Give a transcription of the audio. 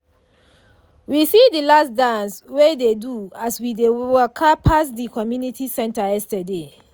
we see de last dance wey dey do as we dey waka pass de community center yesterday.